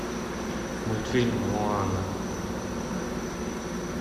мультфильм моана